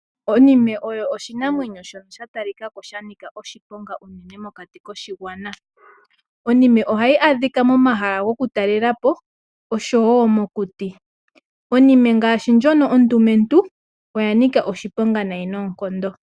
Onime oyo oshinamwenyo shoka sha talikako shanika oshiponga uune mokati koshigwana. Onime ohayi adhika momahala gokutalekapo osho wo mokuti. Onime ngaashi ndjoka ondumentu oyanika oshiponga nayi noonkondo.